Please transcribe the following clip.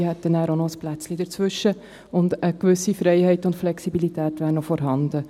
Diese hätten dann auch noch ein Plätzchen dazwischen, und eine gewisse Freiheit und Flexibilität wären noch vorhanden.